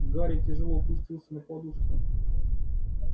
гарри тяжело опустился на подушку